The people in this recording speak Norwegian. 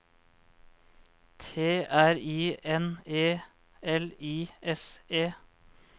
T R I N E L I S E